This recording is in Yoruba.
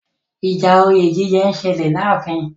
Ìjà òye jíjẹ ń ṣẹlẹ̀ láàfin.